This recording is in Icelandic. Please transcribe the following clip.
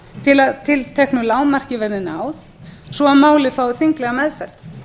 til að tilteknu lágmarki verði náð svo að málið fái þinglega meðferð